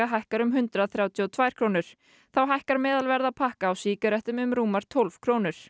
hækkar um hundrað þrjátíu og tvær krónur þá hækkar meðalverð af pakka á sígarettum um rúmar tólf krónur